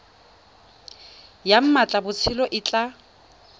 ya mmatla botshabelo e tla